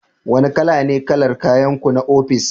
Wane kala ne kalar kayanku na ofis?